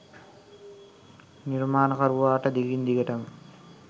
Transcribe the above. නිර්මාණකරුවාට දිගින් දිගටම